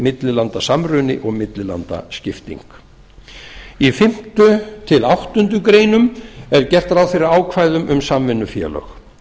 millilandasamruna og millilandaskipting í fimmta til áttundu grein er gert ráð fyrir ákvæðum um samvinnufélög